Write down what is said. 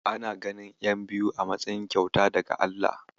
Ana ganin ƴan biyu a matsayin kyauta daga Allah.